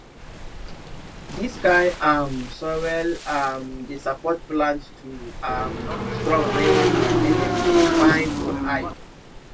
dis kind um soil um dey support plant to um strong well well make dem dey fine for eye